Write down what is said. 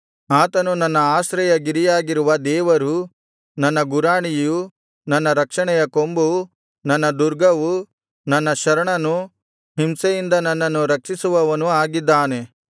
ಆತನು ನನ್ನ ಆಶ್ರಯಗಿರಿಯಾಗಿರುವ ದೇವರೂ ನನ್ನ ಗುರಾಣಿಯೂ ನನ್ನ ರಕ್ಷಣೆಯ ಕೊಂಬೂ ನನ್ನ ದುರ್ಗವೂ ನನ್ನ ಶರಣನೂ ಹಿಂಸೆಯಿಂದ ನನ್ನನ್ನು ರಕ್ಷಿಸುವವನೂ ಆಗಿದ್ದಾನೆ